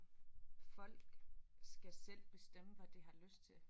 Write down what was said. Folk skal selv bestemme hvad de har lyst til